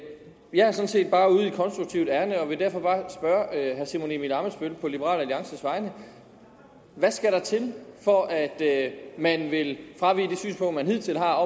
jeg er sådan set bare ude i et konstruktivt ærinde og vil derfor bare spørge herre simon emil ammitzbøll på liberal alliances vegne hvad skal der til for at man vil fravige det synspunkt man hidtil har